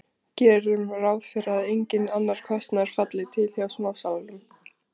Gerum ráð fyrir að enginn annar kostnaður falli til hjá smásalanum.